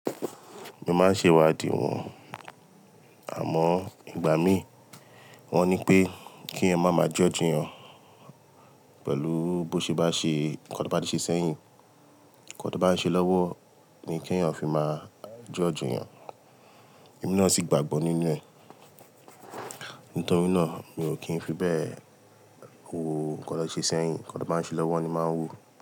Mo máa ń ṣe ìwádìí wọn, àmọ́ ìgbà mí, wọ́n ní pé kí ẹyan máa máa judge eyan pẹ̀lú bó ṣe bá ṣe, ǹkan tó bá ti ṣe sẹ́yìn, ǹkan tó bá ń ṣe lọ́wọ́ ni kí èèyàn fi máa judge eyan. Emi náà sì gbàgbọ́ nínú ẹ̀. Nítorí náà mi ò kí ń fi bẹ́ẹ̀ wo nkan ti won ṣe sẹ́yìn, nkan tan bá ń ṣe lọ́wọ́ ni màá n wo.